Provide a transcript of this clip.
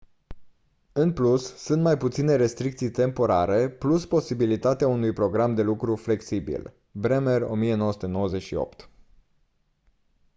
în plus sunt mai puține restricții temporare plus posibilitatea unui program de lucru flexibil. bremer 1998